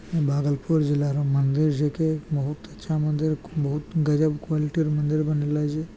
भागलपुर जिला रो मंदिर छेके। बहुत अच्छा मंदिर बहुत गज़ब क़्वालिटी रो मंदिर बनेले छे।